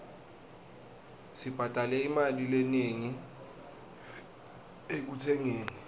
sibhadale imali lenengi ekutsengeni